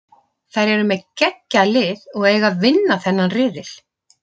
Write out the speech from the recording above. Þær eru með geggjað lið og eiga að vinna þennan riðil.